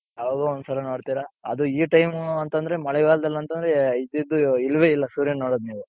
ಯಾವಾಗಲೋ ಒಂದ್ ಸಲ ನೋಡ್ತೀರ ಅದು ಈ time ಅಂತoದ್ರೆ ಮಳೆಗಾಲ್ದಲ್ಲಿ ಅಂತಂದ್ರೆ ಇದ್ದಿದ್ದು ಇಲ್ವೆ ಇಲ್ಲ ಸೂರ್ಯ ನ ನೋಡೋದ್ ನೀವು.